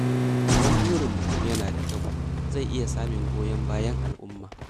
Idan burin mutum yana da kyau, zai iya samun goyon bayan al’umma.